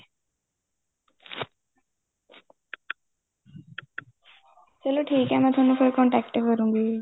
ਚਲੋ ਠੀਕ ਏ ਫੇਰ ਮੈਂ ਤੁਹਾਨੂੰ contact ਕਰੂਗੀ